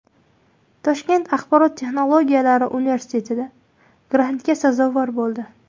Toshkent axborot texnologiyalari universiteti grantga sazovor bo‘ldi.